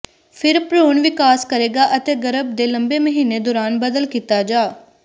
ਫਿਰ ਭ੍ਰੂਣ ਵਿਕਾਸ ਕਰੇਗਾ ਅਤੇ ਗਰਭ ਦੇ ਲੰਬੇ ਮਹੀਨੇ ਦੌਰਾਨ ਬਦਲ ਕੀਤਾ ਜਾ